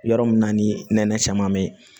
Yɔrɔ min na ni nɛnɛ caman bɛ ye